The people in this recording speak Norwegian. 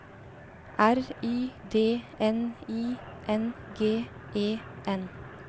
R Y D N I N G E N